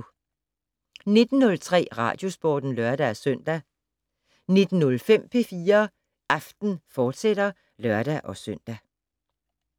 19:03: Radiosporten (lør-søn) 19:05: P4 Aften, fortsat (lør-søn)